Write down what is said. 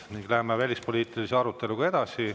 Nüüd läheme välispoliitilise aruteluga edasi.